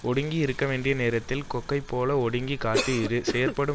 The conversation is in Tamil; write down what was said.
ஒடுங்கி இருக்க வேண்டிய நேரத்தில் கொக்கை போல் ஒடுங்கிக் காத்து இரு செயற்படும்